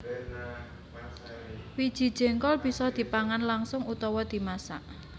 Wiji jéngkol bisa dipangan langsung utawa dimasak